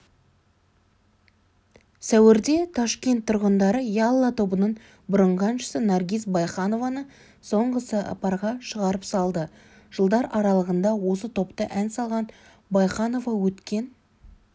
сәуірде ташкент тұрғындары ялла тобының бұрынғы әншісі наргиз байханованы соңғы сапарға шығарып салды жылдар аралығында осы топта ән салған байханова өткен